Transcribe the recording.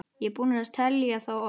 Ég er búinn að telja þá oft.